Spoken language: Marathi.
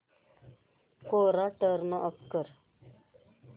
कोरा टर्न ऑफ कर